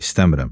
İstəmirəm.